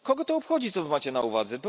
Kogo to obchodzi, co wy macie na uwadze?